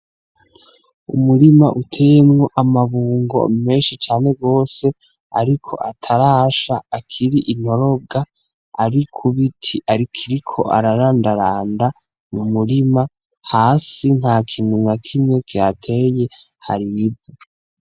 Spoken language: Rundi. Umurima uteyemwo amabungo menshi cane gose ariko atarasha akiri intorobwa ari Ku biti akiriko ararandaranda m'umurima, hasi ntakintu nakimwe kihateye Hari ibivu.